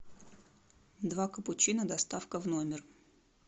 два капучино доставка в номер